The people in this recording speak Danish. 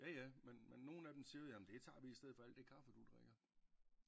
Ja ja men men nogle af dem siger jamen det tager vi i stedet for alt det kaffe du drikker